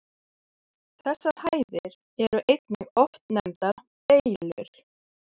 Þessar hæðir eru einnig oft nefndar Beylur.